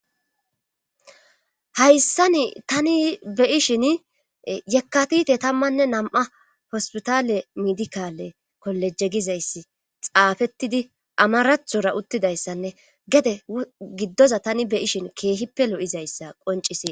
hayssani tani beyishin yekkatite tammanne nam7a hospitale midikale kolejegizayssi xaafettidi amarathora uttidayssanne gede giddoza tani beyishin keehippe lo7izayssa qoncisii